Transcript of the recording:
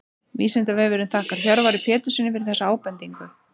Vísindavefurinn þakkar Hjörvari Péturssyni fyrir þessa ábendingu.